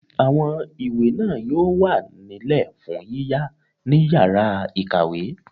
Àwọn ìwé náà yóò wà nílẹ̀ fún yíyá ní yàrá-ìkàwé